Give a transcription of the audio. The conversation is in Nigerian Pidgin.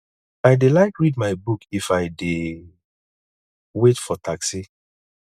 i dey like read my book if i dey wait for taxi